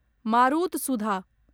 मारुतसुधा